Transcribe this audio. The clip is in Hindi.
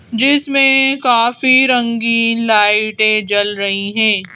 जिसमें काफी रंगीन लाइटें जल रही हैं।